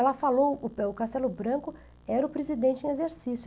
Ela falou, o Castelo Branco era o presidente em exercício.